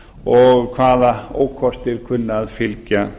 og hvaða ókostir kunni að fylgja